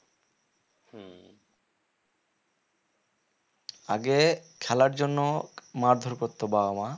আগে খেলার জন্য মারধর করতো বাবা-মা